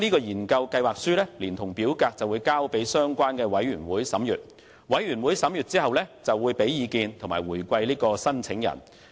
研究計劃書連同表格交由相關委員會審閱，委員會審閱後會向申請人給予意見回饋。